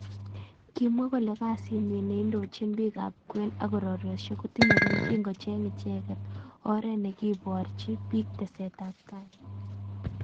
kimwa kole kasit nyi neindojin bik ab kwen ak urerosiek ko tinye keljin kocheng icheket oret nekeborji bik teset ab tai.